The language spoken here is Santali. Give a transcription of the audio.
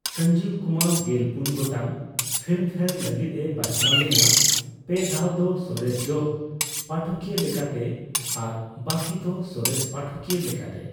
ᱥᱚᱧᱡᱤᱵᱽ ᱠᱩᱢᱟᱨ ᱜᱮᱞᱯᱩᱱ ᱜᱚᱴᱟᱝ ᱯᱷᱤᱞᱢᱯᱷᱮᱭᱟᱨ ᱞᱟᱹᱜᱤᱫᱼᱮ ᱵᱟᱪᱷᱱᱟᱣ ᱞᱮᱱᱟ, ᱯᱮ ᱫᱷᱟᱣ ᱫᱚ ᱥᱚᱨᱮᱥ ᱡᱚᱜᱽ ᱯᱟᱴᱷᱚᱠᱤᱭᱟᱹ ᱞᱮᱠᱟᱛᱮ ᱟᱨ ᱵᱟᱹᱠᱤ ᱫᱚ ᱥᱚᱨᱮᱥ ᱯᱟᱴᱷᱚᱠᱤᱭᱟᱹ ᱞᱮᱠᱟᱛᱮ ᱾